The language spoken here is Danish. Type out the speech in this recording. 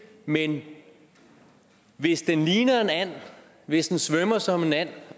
men hvis den ligner en and hvis den svømmer som en and